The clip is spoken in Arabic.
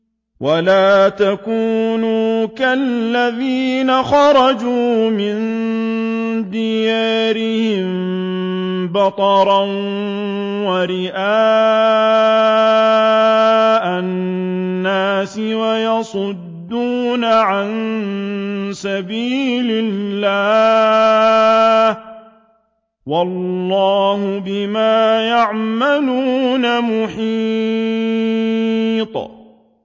وَلَا تَكُونُوا كَالَّذِينَ خَرَجُوا مِن دِيَارِهِم بَطَرًا وَرِئَاءَ النَّاسِ وَيَصُدُّونَ عَن سَبِيلِ اللَّهِ ۚ وَاللَّهُ بِمَا يَعْمَلُونَ مُحِيطٌ